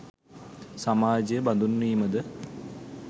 සමාජය බඳුන්වීමද